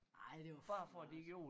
Ej det var flot